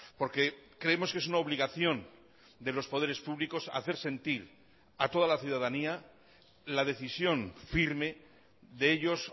porque creemos que es una obligación de los poderes públicos hacer sentir a toda la ciudadanía la decisión firme de ellos